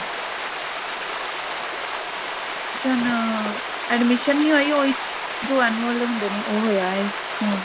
admission admission ਨੀ ਹੋਈ ਉਹੀ ਜੋ annual ਹੁੰਦੇ ਨੇ ਉਹ ਹੋਇਆ ਆਈ ਹਮ